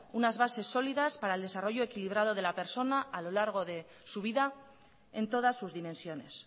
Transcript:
unas bases sólidas para el desarrollo equilibrado de la persona a lo largo de su vida en todas sus dimensiones